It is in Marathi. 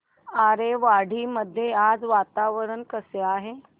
आरेवाडी मध्ये आज वातावरण कसे आहे